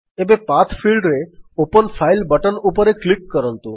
ଏବେ ପାଠ ଫିଲ୍ଡରେ ଓପନ୍ ଫାଇଲ୍ ବଟନ୍ ଉପରେ କ୍ଲିକ୍ କରନ୍ତୁ